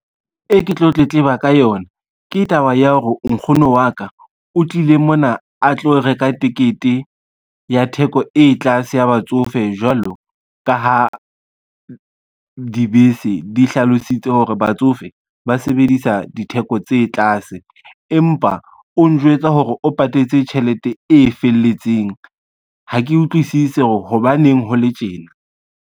E ke tlo tletleba ka yona, ke taba ya hore nkgono wa ka o tlile mona a tlo reka tekete ya theko e tlase ya batsofe jwalo ka ha dibese di hlalositse hore batsofe ba sebedisa ditheko tse tlase. Empa o njwetsa hore o patetse tjhelete e felletseng, ha ke utlwisisi hore hobaneng ho le tjena.